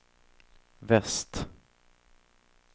väst